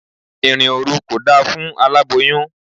Ìrìn òru kò da fún aláboyun.